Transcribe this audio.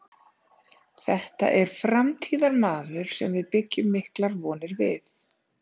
Þetta er framtíðarmaður sem við byggjum miklar vonir við.